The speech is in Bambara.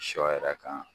Sɔ yɛrɛ kan